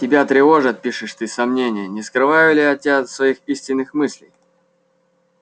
тебя тревожат пишешь ты сомнения не скрываю ли я от тебя своих истинных мыслей